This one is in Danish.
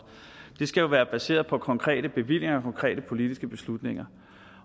det skal jo være baseret på konkrete bevillinger og konkrete politiske beslutninger